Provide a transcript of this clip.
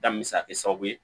Danni bɛ se ka kɛ sababu ye